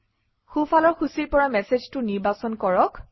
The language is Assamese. সোঁফালৰ সূচীৰ পৰা মেচেজটো নিৰ্বাচন কৰক